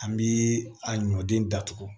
An bi a ɲɔden datugu